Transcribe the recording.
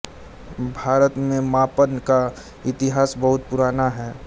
भारत में मापन का इतिहास बहुत पुराना है